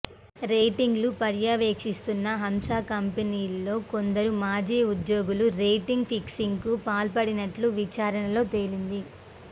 రేటింగ్లను పర్యవేక్షిస్తున్న హంసా కంపెనీలో కొందరు మాజీ ఉద్యోగులు రేటింగ్ ఫిక్సింగ్కు పాల్పడినట్లు విచారణలో తేలింది